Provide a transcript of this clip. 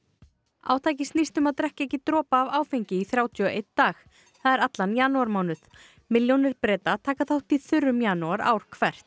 átakið snýst um að drekka ekki dropa af áfengi í þrjátíu og einn dag það er allan janúarmánuð milljónir Breta taka þátt í þurrum janúar ár hvert